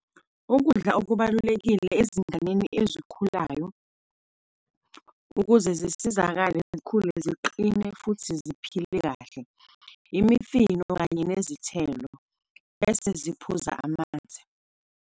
Ukudla okubalulekile ezinganeni ezikhulayo, ukuze zisizakale zikhule ziqine futhi ziphile kahle, imifino kanye nezithelo, bese ziphuza amanzi.